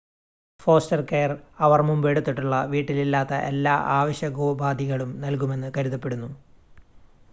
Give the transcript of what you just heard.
foster care അവർ മുമ്പ് എടുത്തിട്ടുള്ള വീട്ടിൽ ഇല്ലാത്ത എല്ലാ ആവശ്യകോപാധികളും നൽകുമെന്ന് കരുതപ്പെടുന്നു